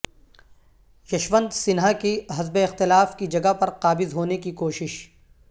یشونت سنہا کی حزب اختلاف کی جگہ پر قابض ہونے کی کوشش